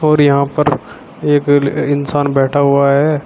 और यहां पर एक इंसान बैठा हुआ है।